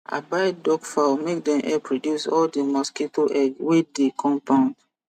i buy duck fowl make dem help reduce all di mosquito egg wey di compound